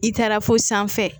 I taara fo sanfɛ